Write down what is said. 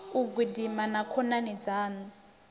u gidima na khonani dzaṋu